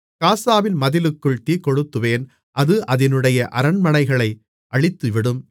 காசாவின் மதிலுக்குள் தீக்கொளுத்துவேன் அது அதினுடைய அரண்மனைகளை அழித்துவிடும்